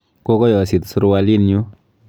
Kokoyosit surualinyu.